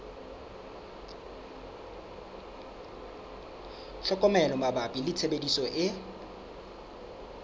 tlhokomelo mabapi le tshebediso e